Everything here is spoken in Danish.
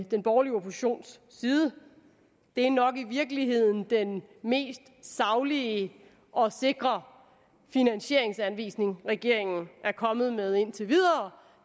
den borgerlige oppositions side det er nok i virkeligheden den mest saglige og sikre finansieringsanvisning regeringen er kommet med indtil videre